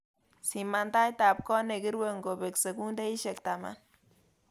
Siman taitab koot negirue ngobek sekundishek taman